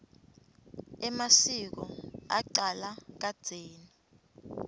emasiko acala kadzeni